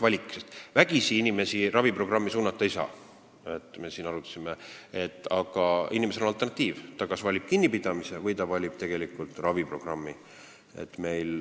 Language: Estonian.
Vägisi inimest raviprogrammi suunata ei saa, me seda arutasime, aga inimesel peab olema alternatiiv: ta kas valib kinnipidamise või raviprogrammi.